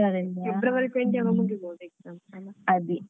ಆಗುತ್ತೆ February twenty ಆಗ್ವಾಗ ಮುಗಿಬೋದು exam ಅದೇ ಫೆಬ್ರವರಿ ಇಂದವಾ ಹ್ಮ್ ಅಲ್ಲ.